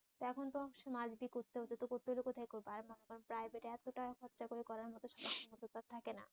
এখন তো must be করতে হচ্ছে করতে হলে তো কোথায় করব প্রাইভেটে এত টাকা খরচা করে করার তো থাকে না